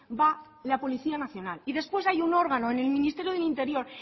va la policía nacional y después hay un órgano en el ministerio del interior